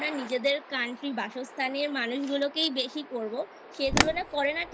আমরা নিজেদের Country বাসস্থানের মানুষগুলোকেই বেশি করবো সে তুলনা করে না